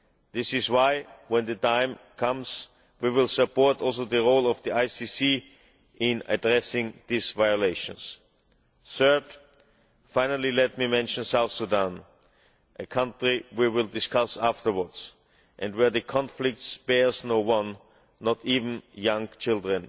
This is why, when the time comes, we will support also the role of the ICC in addressing these violations. Third, finally let me mention South Sudan, a country we will discuss afterwards and where the conflict spares no one, not even young children.